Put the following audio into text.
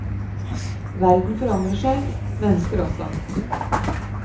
Verden forandrer seg, mennesker også.